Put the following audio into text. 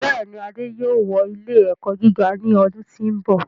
Bẹ́ẹ̀ni, Adé yóò wọ ilẹ́ ẹ̀kọ́ gíga ní ọdún tí ó ń bọ̀